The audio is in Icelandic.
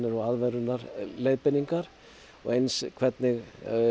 og aðvörunarleiðbeiningar og eins hvernig